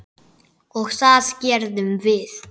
Og það gerðum við.